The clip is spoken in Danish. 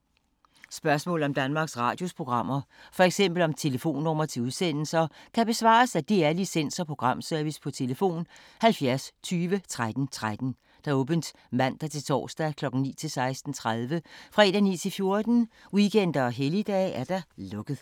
Spørgsmål om Danmarks Radios programmer, f.eks. om telefonnumre til udsendelser, kan besvares af DR Licens- og Programservice: tlf. 70 20 13 13, åbent mandag-torsdag 9.00-16.30, fredag 9.00-14.00, weekender og helligdage: lukket.